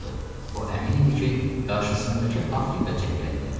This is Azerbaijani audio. O əmin idi ki, qarşısındakı Afrika cəngəllikləridi.